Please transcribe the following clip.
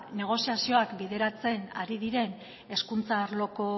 negoziazioak bideratzen ari diren hezkuntza arloko